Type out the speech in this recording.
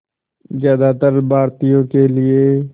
ज़्यादातर भारतीयों के लिए